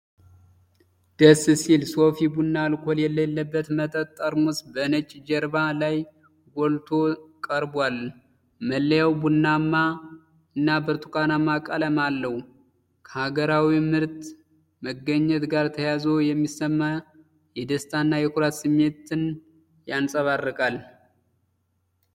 ደስ ሲል። የሶፊ ቡና አልኮል የሌለበት መጠጥ ጠርሙስ በነጭ ጀርባ ላይ ጎልቶ ቀርቧል ። መለያው ቡናማና ብርቱካናማ ቀለም አለው ። ከሀገራዊ ምርት መገኘት ጋር ተያይዞ የሚሰማ የደስታና የኩራት ስሜት ይንጸባረቃል።